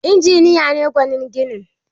Injiniya ne gwanin ginin